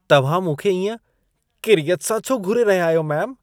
तव्हां मूंखे इएं किरियत सां छो घूरे रहिया आहियो मेम?